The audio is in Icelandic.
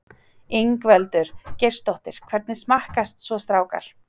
Ingveldur Geirsdóttir: Hvernig smakkast svo strákar?